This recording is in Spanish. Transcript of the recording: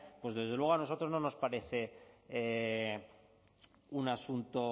pues desde luego a nosotros no nos parece